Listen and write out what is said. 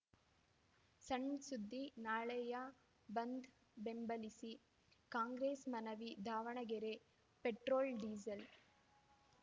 ಸಣ್‌ ಸುದ್ದಿ ನಾಳೆಯ ಬಂದ್‌ ಬೆಂಬಲಿಸಿ ಕಾಂಗ್ರೆಸ್‌ ಮನವಿ ದಾವಣಗೆರೆ ಪೆಟ್ರೋಲ್‌ ಡೀಸೆಲ್‌